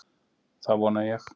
Það vona ég.